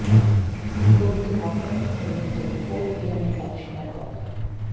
কোভিডে আক্রান্ত হয়ে মৃত্যু ফোর্ট উইলিয়ামের এক সেনা কর্তার